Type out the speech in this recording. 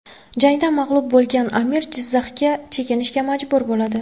Jangda mag‘lub bo‘lgan amir Jizzaxga chekinishga majbur bo‘ladi.